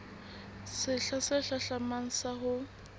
sehla se hlahlamang sa ho